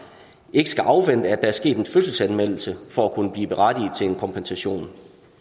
ikke skal afvente at der er sket en fødselsanmeldelse for at kunne blive berettiget til en kompensation